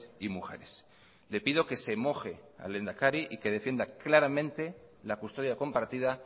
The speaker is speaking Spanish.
y mujeres le pido que se moje al lehendakari y que defienda claramente la custodia compartida